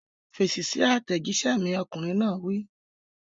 Fèsì sí àtẹ̀jíṣẹ́ mi! Ọkùnrin náà wí.